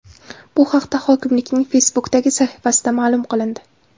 Bu haqda hokimlikning Facebook’dagi sahifasida ma’lum qilindi .